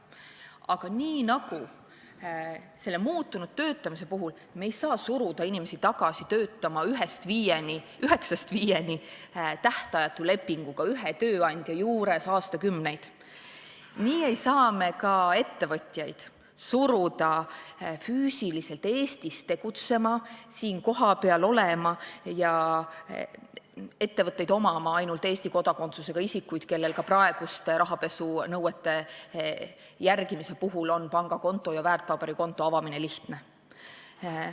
Aga nii nagu muutunud töötamise puhul ei saa me suruda inimesi tagasi töötama üheksast viieni tähtajatu lepinguga ühe tööandja juures aastakümneid, ei saa me ka ettevõtjaid suruda füüsiliselt Eestis tegutsema ja siin kohapeal olema, me ei saa arvata, et ettevõtteid omavad ainult Eesti kodakondsusega isikud, kellel ka praeguste rahapesunõuete järgimise puhul on pangakonto ja väärtpaberikonto avamine lihtne.